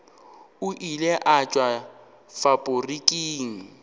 o ile a tšwa faporiking